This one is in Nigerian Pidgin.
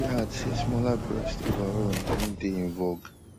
e add say smaller breasts overall na im dey in vogue